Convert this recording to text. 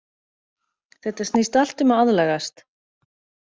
Þetta snýst allt um að aðlagast.